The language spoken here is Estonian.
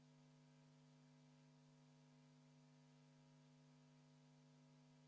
V a h e a e g